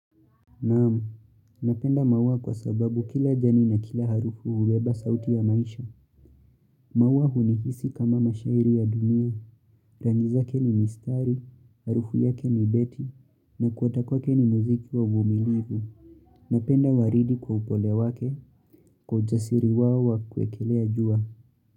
Naam, napenda maua kwa sababu kila jani na kila harufu hubeba sauti ya maisha. Maua hunihisi kama mashairi ya dunia. Tangi zake ni mistari, harufu yake ni beti, na kuata kwake ni muziki wa uvumilivu. Napenda waridi kwa upole wake, kwa ujasiri wao wa kuwekelea jua.